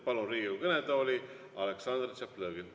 " Palun Riigikogu kõnetooli Aleksandr Tšaplõgini.